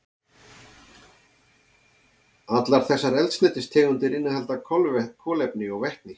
Allar þessar eldsneytistegundir innihalda kolefni og vetni.